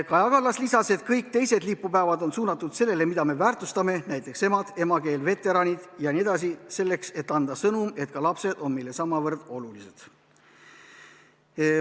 Kaja Kallas lisas, et kõik teised lipupäevad on suunatud sellele, mida me väärtustame, näiteks emad, emakeel, veteranid jne, ning tuleks anda sõnum, et ka lapsed on meile samavõrd olulised.